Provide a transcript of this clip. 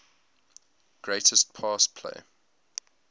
greatest pass play